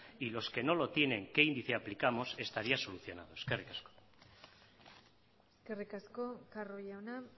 y los que no lo tienen qué índice aplicamos estaría solucionado eskerrik asko eskerrik asko carro jauna